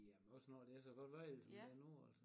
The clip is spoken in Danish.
Jamen også når det er så godt vejr som det er nu altså